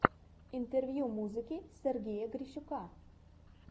интервью музыки сергея грищука